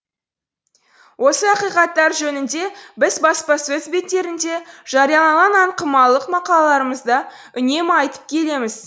осы ақиқаттар жөнінде біз баспасөз беттерінде жарияланған аңқымалық мақалаларымызда үнемі айтып келеміз